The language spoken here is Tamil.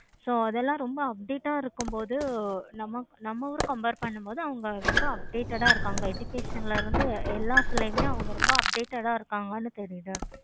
so அதெல்லாம் ரொம்ப update ஆஹ் இருக்கும் பொழுது நம்ம ஊரு compare பன்னும் போது ரொம்ப updated ஆஹ் இருக்காங்க. education ல இருந்து எல்லாத்துலயும் அவங்க ரொம்ப updated ஆஹ் இருக்காங்க. தெரியுதா?